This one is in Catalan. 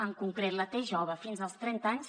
en concret la t jove fins als trenta anys